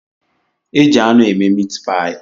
E ji anụ eme miit paayi